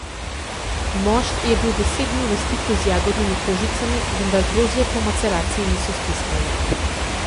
Mošt je bil deset dni v stiku z jagodnimi kožicami, vendar drozge po maceraciji niso stiskali.